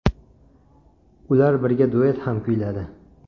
Ular birga duet ham kuyladi.